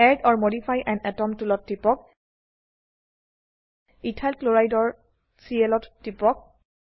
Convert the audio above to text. add or modify আন atom টুলত টিপক ইথাইল ক্লৰাইড ইথাইল ক্লোৰাইড এৰ চিএল ত টিপক